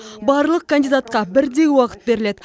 барлық кандидатқа бірдей уақыт беріледі